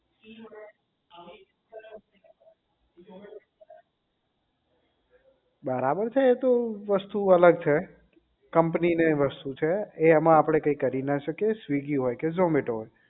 બરાબર છે એ તો વસ્તુ અલગ છે કંપની ને વસ્તુ છે એ એમાં કઈ આપણે કરી ના શકીએ swiggy હોય કે zomato હોય